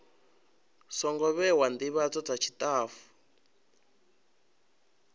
songo vhewa ndivhadzo dza tshitafu